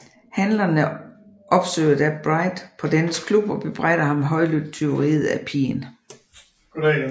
Handlerne opsøger da Bright på dennes klub og bebrejder ham højlydt tyveriet af pigen